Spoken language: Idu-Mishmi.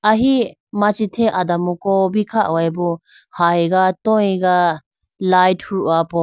Ahi machi the adamko bi kha hoyi bo hayiga toyiga light huho po.